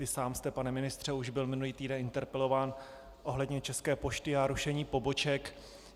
Vy sám jste, pane ministře, byl už minulý týden interpelován ohledně České pošty a rušení poboček.